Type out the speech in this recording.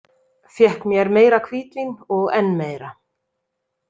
Fékk mér meira hvítvín og enn meira.